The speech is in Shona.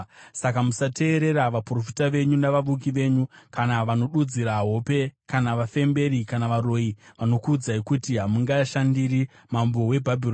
Saka musateerera vaprofita venyu, navavuki venyu, kana vanodudzira hope kana vafemberi kana varoyi vanokuudzai kuti, ‘Hamungashandiri mambo weBhabhironi’.